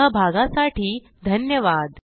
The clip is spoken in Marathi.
सहभागासाठी धन्यवाद